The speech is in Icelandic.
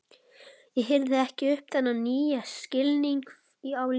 Ég hirði ekki um þennan nýja skilning á lífinu.